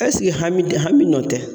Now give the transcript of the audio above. ɛsike hami tɛ hami nɔ tɛ